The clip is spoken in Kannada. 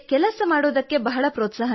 ನನ್ನ ತಾಯಿತಂದೆ ನನಗೆ ಪ್ರೋತ್ಸಾಹ ನೀಡುತ್ತಾರೆ